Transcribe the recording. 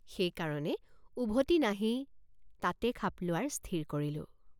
সেইকাৰণে উভতি নাহি তাতে খাপ লোৱাৰ স্থিৰ কৰিলোঁ।